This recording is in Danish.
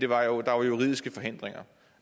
var juridiske forhindringer